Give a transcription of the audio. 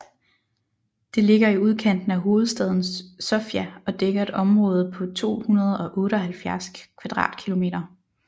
Det ligger i udkanten af hovedstaden Sofia og dækker et område på 278 km²